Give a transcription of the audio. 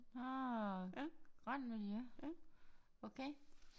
Ah grøn miljø okay